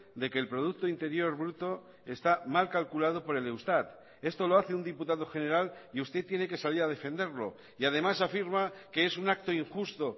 de que el producto interior bruto está mal calculado por el eustat esto lo hace un diputado general y usted tiene que salir a defenderlo y además afirma que es un acto injusto